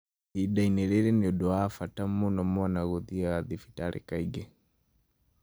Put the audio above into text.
Ihinda-inĩ rĩrĩ, nĩ ũndũ wa bata mũno mwana athiĩ thibitarĩ kaingĩ.